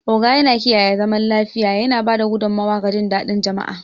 Ogo yana kiyaye zaman lafiya, yana ba da gudummawa ga jin daɗin jama'a.